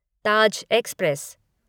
Taj express